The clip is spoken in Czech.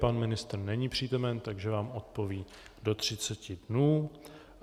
Pan ministr není přítomen, takže vám odpoví do 30 dnů.